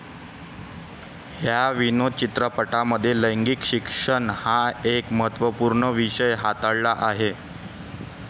ह्या विनोदी चित्रपटामध्ये लैंगिक शिक्षण हा एक महत्वपूर्ण विषय हाताळला आहे.